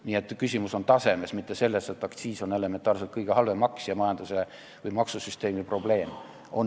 Nii et küsimus on tasemes, mitte selles, et aktsiis on elementaarselt kõige halvem maks ja majanduse või maksusüsteemi probleem.